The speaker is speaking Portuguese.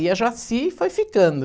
E a Joacy foi ficando.